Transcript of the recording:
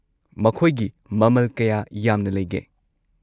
ꯃꯈꯣꯏꯒꯤ ꯃꯃꯜ ꯀꯌꯥ ꯌꯥꯝꯅ ꯂꯩꯒꯦ?